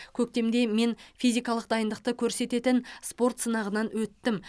көктемде мен физикалық дайындықты көрсететін спорт сынағынан өттім